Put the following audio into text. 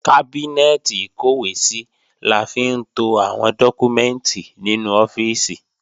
Kábínẹ́ẹ̀tì ìkọ́wèésí la fi ń to àwọn dọ́kúmẹ́ǹtì nínú ọ́fíìsì